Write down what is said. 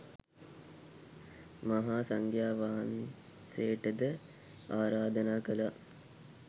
මහා සංඝයා වහන්සේට ද ආරාධනා කළා.